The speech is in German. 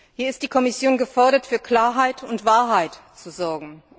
Hier ist die Kommission gefordert, für Klarheit und Wahrheit zu sorgen.